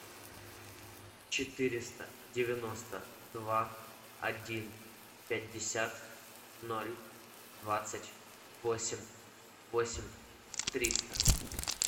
четыреста девяносто два один пятьдесят ноль двадцать восемь восемь триста